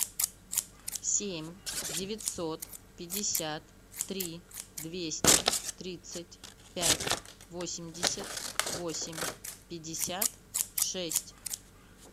семь девятьсот пятьдесят три двести тридцать пять восемьдесят восемь пятьдесят шесть